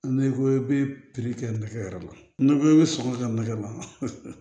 N'i ko i bɛ pikiri kɛ nɛgɛ la n'i ko i bɛ sɔngɔ kɛ nɛgɛ ma